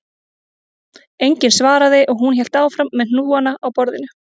Enginn svaraði og hún hélt áfram með hnúana á borðinu